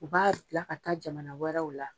U b'a bila ka taa jamana wɛrɛw la.